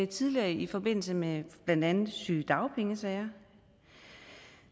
tidligere i forbindelse med blandt andet sygedagpengesager